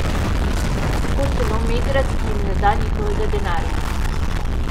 Lahko celo Megrad, ki jim ne da njihovega denarja.